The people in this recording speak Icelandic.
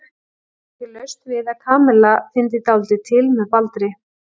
Það var ekki laust við að Kamilla fyndi dálítið til með Baldri.